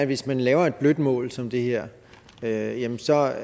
hvis man laver et blødt mål som det her jamen så er